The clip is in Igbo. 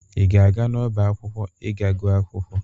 Ị ga-aga n'ọba akwụkwọ ịga gụọ akwụkwọ?